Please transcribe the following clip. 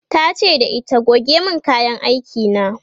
tace da ita "goge min kayan aiki na!"